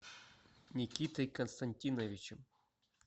никитой константиновичем